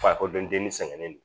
Fakoli dɔndennin sɛgɛn no